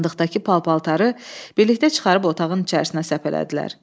Sandıqdakı pal-paltarı birlikdə çıxarıb otağın içərisinə səpələdilər.